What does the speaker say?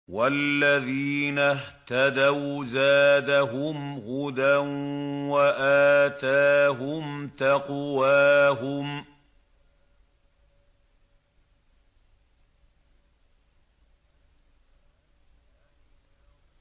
وَالَّذِينَ اهْتَدَوْا زَادَهُمْ هُدًى وَآتَاهُمْ تَقْوَاهُمْ